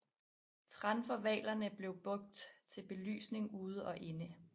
Tran fra hvalerne blev brugt til belysning ude og inde